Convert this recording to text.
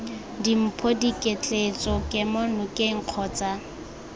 dimpho diketleetso kemo nokeng kgotsa